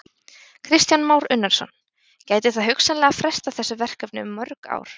Kristján Már Unnarsson: Gæti það hugsanlega frestað þessu verkefni um mörg ár?